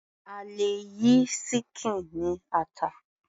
A lè yí ṣíkìn ní ata.